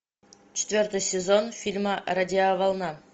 четвертый сезон фильма радиоволна